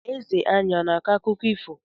Eze anyị ana-akọ akụkọ ifo?